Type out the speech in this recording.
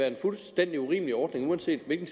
en fuldstændig urimelig ordning uanset hvilken